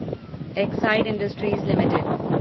Exide industries limited